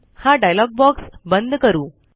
हा dialogue box बंद करू